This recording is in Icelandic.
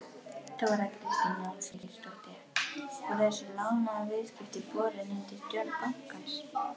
Þóra Kristín Ásgeirsdóttir: Voru þessi lánaviðskipti borin undir stjórn bankans?